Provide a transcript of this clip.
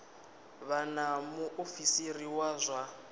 vha na muofisiri wa zwa